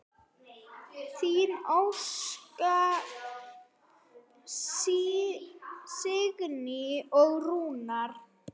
Þín Óskar, Signý og Rúnar.